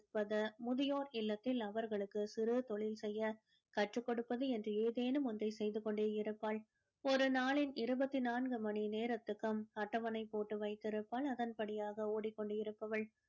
கொடுப்பது முதியோர் இல்லத்தில் அவர்களுக்கு சிறு தொழில் செய்ய கற்றுக் கொடுப்பது என்று ஏதேனும் ஒன்றை செய்து கொண்டே இருப்பாள் ஒரு நாளின் இருபத்து நான்கு மணி நேரத்துக்கும் அட்டவணை போட்டு வைத்திருப்பாள் அதன் படியாக ஓடிக் கொண்டு இருப்பவள்